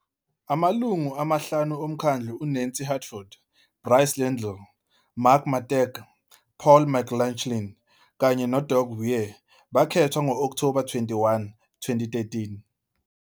Amalungu amahlanu omkhandlu, uNancy Hartford, Bryce Liddle, Mark Matejka, Paul McLauchlin, kanye noDoug Weir, bakhethwa ngo-Okthoba 21, 2013.